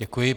Děkuji.